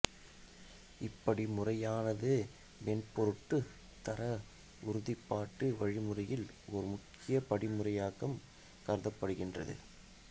இப்படிமுறையானது மென்பொருட் தர உறுதிப்பாட்டு வழிமுறையில் ஓர் முக்கிய படிமுறையாகக் கருதப்படுகின்றது